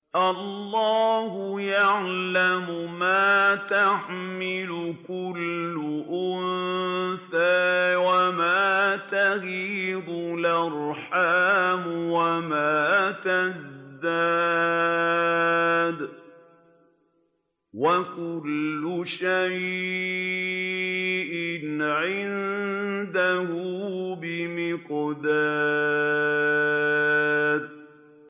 اللَّهُ يَعْلَمُ مَا تَحْمِلُ كُلُّ أُنثَىٰ وَمَا تَغِيضُ الْأَرْحَامُ وَمَا تَزْدَادُ ۖ وَكُلُّ شَيْءٍ عِندَهُ بِمِقْدَارٍ